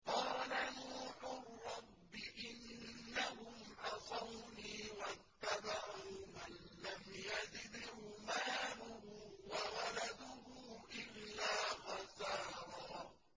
قَالَ نُوحٌ رَّبِّ إِنَّهُمْ عَصَوْنِي وَاتَّبَعُوا مَن لَّمْ يَزِدْهُ مَالُهُ وَوَلَدُهُ إِلَّا خَسَارًا